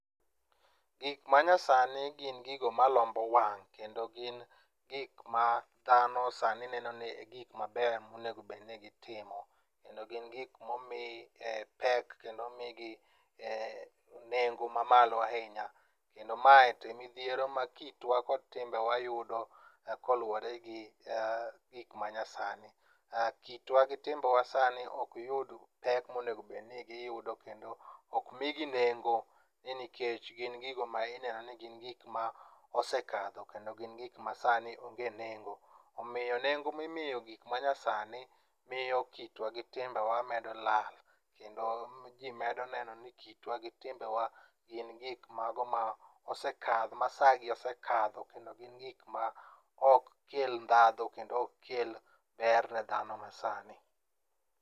Gik manyasani gin gigo malombo wang' ,kendo gin gik ma dhano sani neno ni e gik mabeyo monego bed ni gitimo. Kendo gin gik momi pek kendo omigi nengo mamalo ahinya. Kendo mae to e midhiero ma kitwa kod timbewa yudo koluwore gi gik manyasani. Kitwa gi timbewa sani ok yud pek monego bed ni giyudo kendo ok migi nengo ni nikech gin gigo ma ineno ni gin gik mosekadho kendo gin gik masani onge nengo. Omiyo nengo mimiyo gik manyasani miyo kitwa gi timbewa medo lal, kendo ji medo neno ni kitwa gi timbewa gin gik mago ma osekadho ma sagi osekadho, kendo gin gik ma ok kel ndhadhu kendo ok kel ber ne dhano masani.